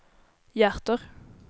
hjärter